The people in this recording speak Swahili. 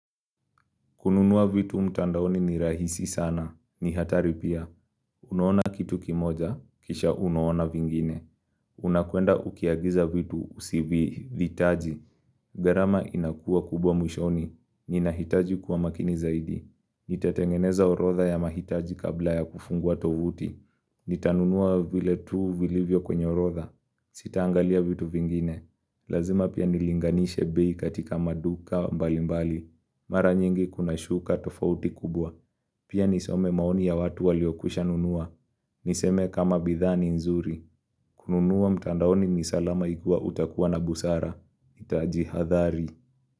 Kununua vitu mtandaoni ni rahisi sana. Ni hatari pia. Unuona kitu kimoja, kisha unuona vingine. Unakwenda ukiagiza vitu usivihitaji. Gharama inakua kubwa mwishoni. Ninahitaji kuwa makini zaidi. Nitatengeneza orodha ya mahitaji kabla ya kufungua tovuti. Nitanunua vile tuu vilivyo kwenye orotha. Sitangalia vitu vingine. Lazima pia nilinganishe bei katika maduka mbalimbali. Mara nyingi kuna shuka tofauti kubwa. Pia nisome maoni ya watu waliokwisha nunua. Niseme kama bidhaa ni nzuri. Kununua mtandaoni ni salama ikiwa utakuwa na busara. Utajihadhari.